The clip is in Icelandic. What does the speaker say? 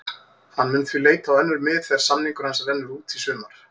Hann mun því leita á önnur mið þegar samningur hans rennur út í sumar.